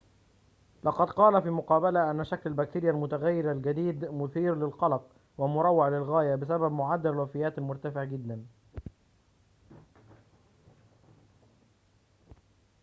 لقد قال في مقابلة أن شكل البكتيريا المتغير الجديد مثير للقلق ومروّع للغاية بسبب معدل الوفيات المرتفع جداً